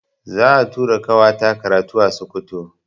Za'a tura ƙawata karatu a Sokoto.